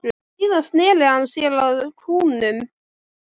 Síðan sneri hann sér að kúnnunum.